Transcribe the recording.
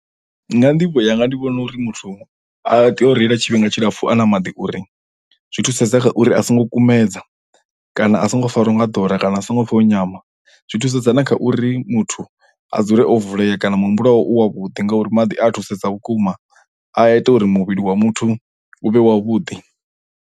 Nga nḓivho yanga ndi vhona uri muthu u a tea u reila tshifhinga tshilapfu a na maḓi uri zwi thusedza kha uri a songo kumedza kana a songo farwa nga ḓora kana a songo pfha o nyama zwi thusedza na kha uri muthu a dzule o vulea kana muhumbulo wawe u wavhuḓi ngauri maḓi a thusesa vhukuma a ita uri muvhili wa muthu u vhe wavhuḓi.